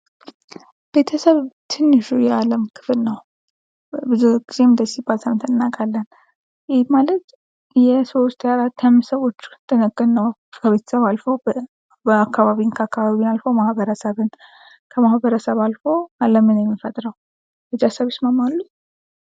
ቤተሰብ ትንሹ የዓለም ክፍል ነው። ብዙ ጊዜም እንደዚህ ሲባል ሰምተን እናውቃለን ይህ ማለት የሰዎች የ4 የ5 ሰዎች ጥርቅም ነው ከቤተሰብ አልፎ አካባቢን ከአካባቢን አልፎ ማህበረሰብን ከማህበረሰብ አልፎ አለምን የሚፈጥረው